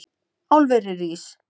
Álverið rísi!